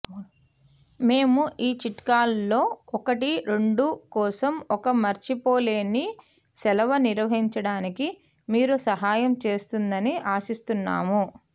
మేము ఈ చిట్కాలలో ఒకటి రెండు కోసం ఒక మర్చిపోలేని సెలవు నిర్వహించడానికి మీరు సహాయం చేస్తుందని ఆశిస్తున్నాము